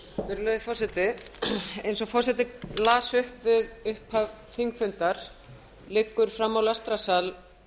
virðulegi forseti eins og forseti las upp við upphaf þingfundar liggur frammi á lestrarsal